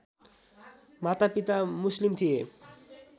मातापिता मुस्लिम थिए